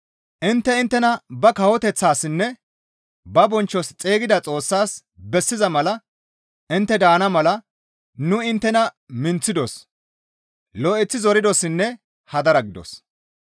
Intte inttena ba kawoteththassinne ba bonchchos xeygida Xoossaas bessiza mala intte daana mala nu inttena minththidos; lo7eththi zoridossinne hadara gidos.